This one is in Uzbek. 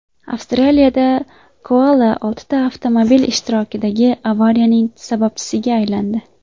Avstraliyada koala oltita avtomobil ishtirokidagi avariyaning sababchisiga aylandi.